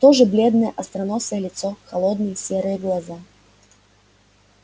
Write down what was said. то же бледное остроносое лицо холодные серые глаза